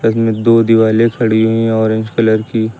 इनमें दो दिवाले खड़ी हुई हैं ऑरेंज कलर की।